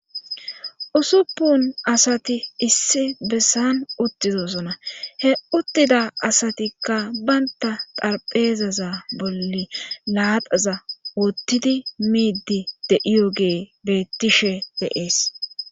usuppun asati issi bessan uttizosona he uttida asatikka baynta xarpheezaza bolli laaxaza woottidi miidi de'iyogey beettishe de7ees.